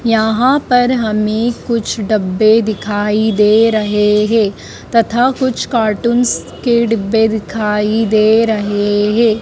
यहाँ पर हमें कुछ डब्बे दिखाई दे रहे है तथा कुछ कार्टून्स के डिब्बे दिखाई दे रहे है।